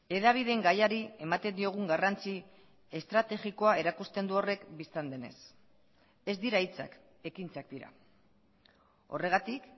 hedabideen gaiari ematen diogun garrantzi estrategikoa erakusten du horrek bistan denez ez dira hitzak ekintzak dira horregatik